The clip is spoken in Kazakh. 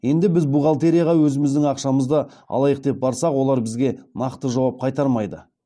енді біз бухгалтерияға өзіміздің ақшамызды алайық деп барсақ олар бізге нақты жауап қайтармайды